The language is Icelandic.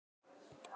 Sneri baki í mig.